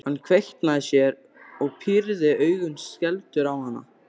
Hann kveinkaði sér og pírði augun skelfdur á hana.